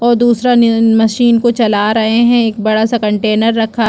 और दूसरा मिशीन को चला रहै हैं एक बड़ा सा कंटेनर रखा।